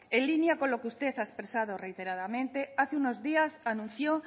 en línea con lo que usted ha expresado reiteradamente hace unos días anunció